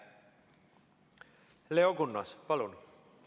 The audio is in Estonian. Leo Kunnas, palun!